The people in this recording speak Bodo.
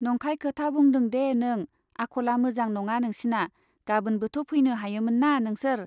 नंखाय खोथा दाबुंदे नों, आख'ला मोजां नङा नोंसिना, गाबोनबोथ' फैनो हायोमोनना नोंसोर ?